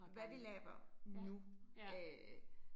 Hvad de laver nu øh